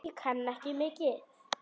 Ég kann ekki mikið.